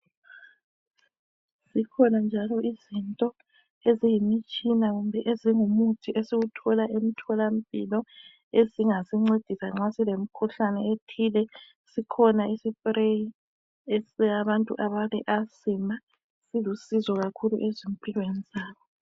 Zikhona njalo izinto eziyimitshina kumbe ezingumuthi esiwuthola emtholampilo. Ezingasincedida nxa silemikhuhlane ethile sikhona isipreyi sabantu abale Asima, silusizo kakhulu ezimpilweni zabo.